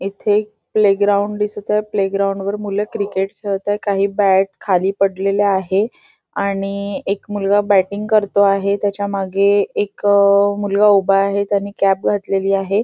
इथे एक playground दिसत आहे प्ले ग्राउंड वर मूल क्रिकेट खेळत आहे काही बॅट खाली पडलेल्या आहे आणि एक मुलगा बॅटिंग करतो आहे त्याच्या मागे एक अ मुलगा उभा आहे त्यानी कॅप घातलेली आहे.